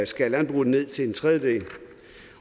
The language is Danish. skære landbruget ned til en tredjedel